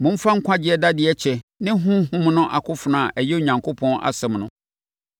Momfa nkwagyeɛ dadeɛ kyɛ ne Honhom no akofena a ɛyɛ Onyankopɔn asɛm no.